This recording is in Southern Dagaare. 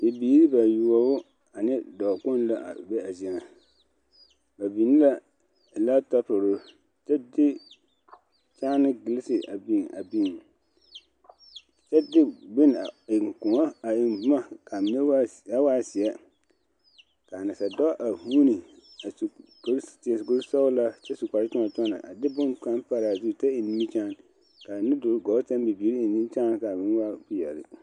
Bibiiri bayoɔbo ane dɔɔ kpoŋ la be a zie ŋa ba biŋ la lantɔpure kyɛ de kyaane gelese a biŋ a biŋ kyɛ de bonne a eŋ kõɔ a eŋ boma ka noba kaa waa zie kaa nasaadɔɔ a vuune su a seɛ kuri sɔglaa kyɛ su kpare kyɔna kyɔna a de bonkaŋ pare a zu kyɛ eŋ nimikyaane kaa nudoluŋ gɔɔ saŋ kaa bibiiri eŋ nimikyaane kaa meŋ waa peɛle.